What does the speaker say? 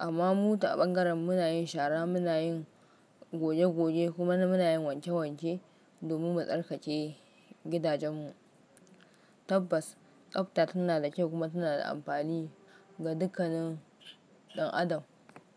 Amma mu ta ɓangaren mu na yin shara, muna yin goge-goge kuma muna yin wanke-wanke domin mu tsarkake gidajenmu. Tabbas, tsafta tana da kyau kuma tana da amfani ga dukkanin ɗan adam.